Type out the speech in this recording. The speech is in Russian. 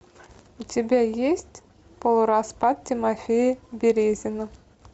у тебя есть полураспад тимофея березина